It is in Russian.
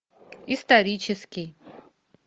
исторический